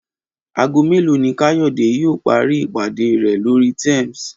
Aago mélòó ni Káyọ̀dé yóò parí ìpàdé rẹ̀ lórí Teams?